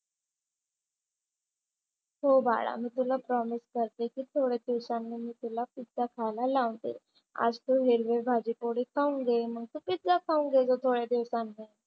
हो बाळा मी तुला प्रॉमिस करते की थोड्या दिवसांनी मी तुला पिझ्झा खायला लावते. आज तू हिरवे भाजी पोळी खाऊन घे. मग तू पिझ्झा खाऊन घे थोड्या दिवसांनी.